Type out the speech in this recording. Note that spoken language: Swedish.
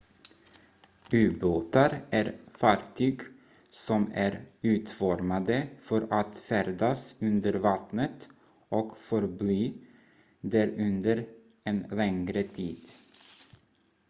ubåtar är fartyg som är utformade för att färdas under vattnet och förbli där under en längre tid